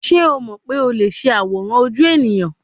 Ṣe o mọ pe o le ṣe aworan oju eniyan